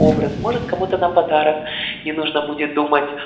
образ может кому-то на подарок не нужно будет думать